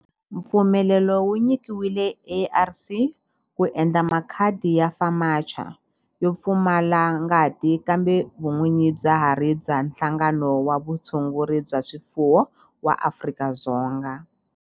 Mpfumelelo wu nyikiwile ARC ku endla makhadi ya FAMACHA yo pfumala ngati kambe vun'winyi bya ha ri bya Nhlangano wa Vutshunguri bya swifuwo wa Afrika-Dzonga.